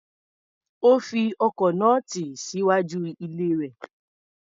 Ó fi ọkọ̀ náà tì síwájú ilé rẹ̀.